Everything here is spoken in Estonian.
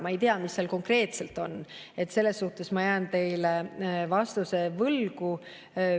Ma ei tea, mis seal konkreetselt on, selles suhtes ma jään teile vastuse võlgu.